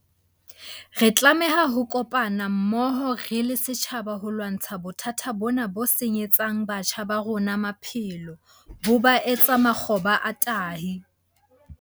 Re tlameha ho kopana mmoho re le setjhaba ho lwantsha bothata bona bo senyetsang batjha ba rona maphelo, bo ba etse makgoba a tahi.